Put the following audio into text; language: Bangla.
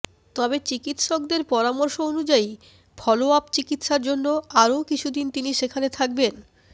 তবে চিকিৎসকদের পরামর্শ অনুযায়ী ফলোআপ চিকিৎসার জন্য আরও কিছুদিন তিনি সেখানে থাকবেন